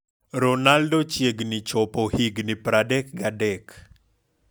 Ronaldo chiegni chopo higni 33